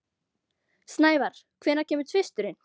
Snævar, hvenær kemur tvisturinn?